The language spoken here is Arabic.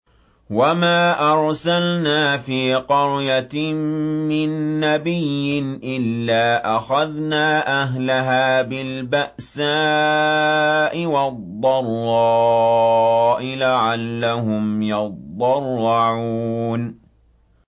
وَمَا أَرْسَلْنَا فِي قَرْيَةٍ مِّن نَّبِيٍّ إِلَّا أَخَذْنَا أَهْلَهَا بِالْبَأْسَاءِ وَالضَّرَّاءِ لَعَلَّهُمْ يَضَّرَّعُونَ